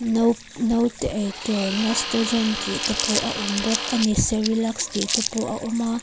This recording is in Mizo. naute eitur nestogen tih te pawh a awm bawk ani cerelac tih te pawh a awm a.